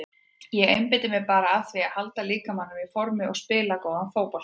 Ég einbeiti mér bara að því að halda líkamanum í formi og spila góðan fótbolta.